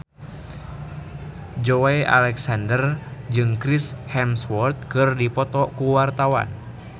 Joey Alexander jeung Chris Hemsworth keur dipoto ku wartawan